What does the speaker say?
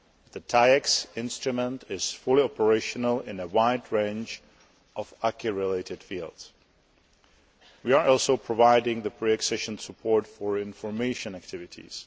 The TAIEX instrument is fully operational in a wide range of acquis related fields. We are also providing the pre accession support for information activities.